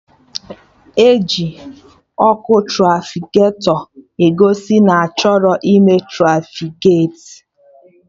E ji Ọkụ trafiketọ egosi na-achọrọ ịme trafiketi